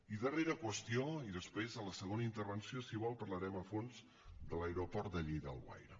i darrera qüestió i després a la segona intervenció si vol parlarem a fons de l’aeroport de lleida alguaire